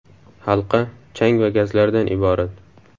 Halqa chang va gazlardan iborat.